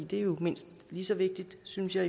det er jo mindst lige så vigtigt synes jeg